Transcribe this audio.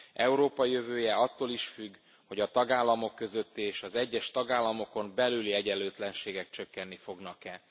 Európa jövője attól is függ, hogy a tagállamok közötti és az egyes tagállamokon belüli egyenlőtlenségek csökkenni fognak e.